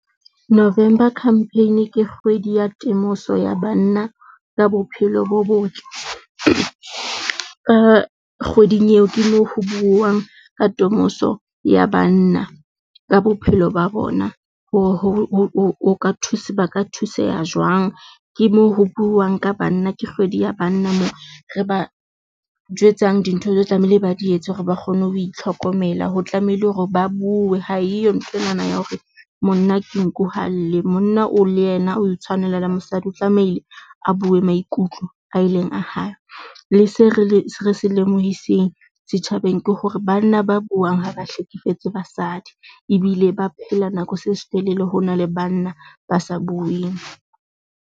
November campaign ke kgwedi ya temoso ya banna, ka bophelo bo botle ka kgweding eo. Ke moo ho buuwang ka temoso ya banna ka bophelo ba bona. Ho ho ho ho ka thuse ba ka thuseha jwang. Ke moo ho buuwang ka banna. Ke kgwedi ya banna, moo re ba jwetsang dintho tlamehile ba di etse hore ba kgone ho itlhokomela. Ho tlamehile hore ba bue ha eyo nthwe na na ya hore monna ke nku ha a lle. Monna o le yena o itshwanela le mosadi o tlamehile a bue maikutlo a ileng a hae. Le se re le re se lemohiseng setjhabeng ke hore bana ba buang ha ba hlekefetse basadi ebile ba phela nako se setelele. Ho nale banna ba sa bueng.